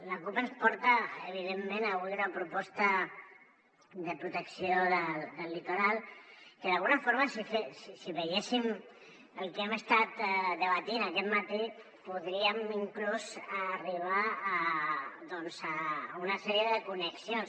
la cup ens porta evidentment avui una proposta de protecció del litoral que d’alguna forma si veiéssim el que hem estat debatent aquest matí podríem inclús arribar doncs a una sèrie de connexions